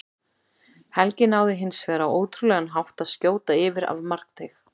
Helgi náði hins vegar á ótrúlegan hátt að skjóta yfir af markteig.